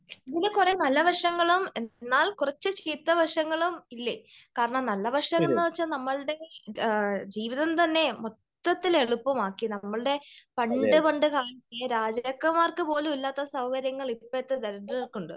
ഇതിന് കുറെ നല്ല വശങ്ങളും എന്നാൽ കുറച്ച് ചീത്ത വശങ്ങളും ഇല്ലേ? കാരണം നല്ല വശം എന്ന് വച്ചാൽ നമ്മളുടെ ജീവിതം തന്നെ മൊത്തത്തിൽ എളുപ്പമാക്കി. നമ്മളുടെ പണ്ട് പണ്ട് രാജാക്കന്മാർക്ക് പോലും ഇല്ലാത്ത സൌകര്യങ്ങൾ ഇപ്പോഴത്തെ ദരിദ്രർക്ക് ഉണ്ട് .